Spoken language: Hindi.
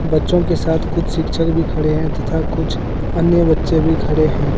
बच्चों के साथ कुछ शिक्षक भी खड़े हैं तथा कुछ अन्य बच्चे भी खड़े हैं।